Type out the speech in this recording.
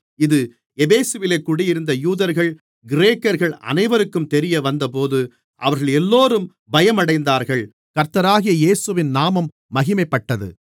இது எபேசுவிலே குடியிருந்த யூதர்கள் கிரேக்கர்கள் அனைவருக்கும் தெரியவந்தபோது அவர்களெல்லோரும் பயமடைந்தார்கள் கர்த்தராகிய இயேசுவின் நாமம் மகிமைப்பட்டது